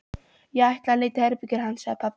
Ég ætla að leita í herberginu hans, sagði pabbi.